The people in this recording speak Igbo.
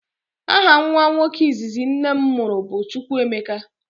Aha nwa nwoke izizi nnem muru bu chukwuemeka.